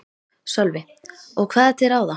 Sölvi: Og hvað er til ráða?